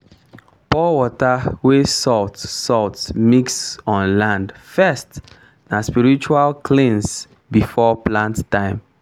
pour water wey salt salt mix on land first na spiritual cleanse before plant time.